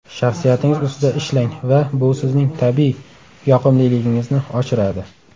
Shaxsiyatingiz ustida ishlang va bu sizning tabiiy yoqimliligingizni oshiradi.